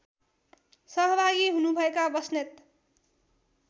सहभागी हुनुभएका बस्नेत